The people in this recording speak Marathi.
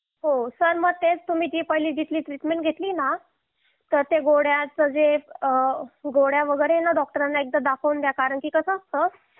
हो सर मग तीच तुम्ही पहिली जीतली ट्रीटमेंट घेतली ना ते गोळ्या वगैरे एकदा डॉक्टरांना दाखवून द्या कारण कसं असतं